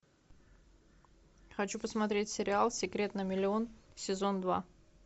хочу посмотреть сериал секрет на миллион сезон два